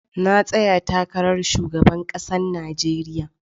Na tsaya takarar shugaban ƙasar Nijeriya